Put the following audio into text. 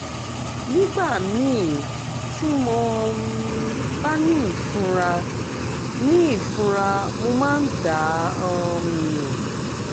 nígbà míì tí mo um bá ní ìfunra ní ìfunra mo máa ń dà um nù